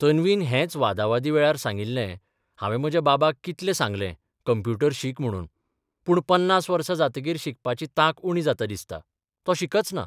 तन्वीन हेच वादाबादीवेळार सांगिल्लेः 'हावें म्हज्या बाबाक कितलें सांगलें कम्प्युटर शीक म्हणून पूर्ण पन्नास वर्सा जातकीर शिकपाची तांक उणी जाता दिसता, तो शिकचना.